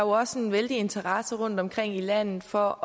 også en vældig interesse rundtomkring i landet for